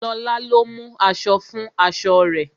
Lóla lo ìmú aṣọ fún aṣọ rẹ̀